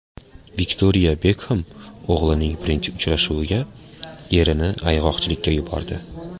Viktoriya Bekxem o‘g‘lining birinchi uchrashuviga erini ayg‘oqchilikka yubordi.